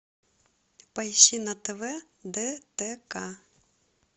поищи на тв дтк